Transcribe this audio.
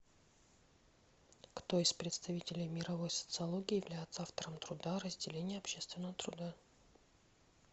кто из представителей мировой социологии является автором труда о разделении общественного труда